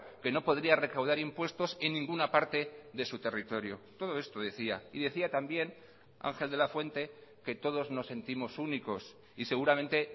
que no podría recaudar impuestos en ninguna parte de su territorio todo esto decía y decía también ángel de la fuente que todos nos sentimos únicos y seguramente